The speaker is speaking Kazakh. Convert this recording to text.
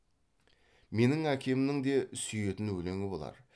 менің әкемнің де сүйетін өлеңі болар